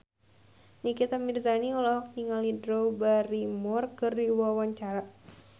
Nikita Mirzani olohok ningali Drew Barrymore keur diwawancara